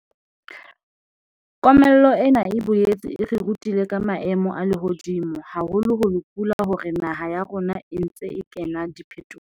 Komello ena e boetse e re rutile ka maemo a lehodimo, haholoholo pula hore naha ya rona e ntse e kena diphetohong.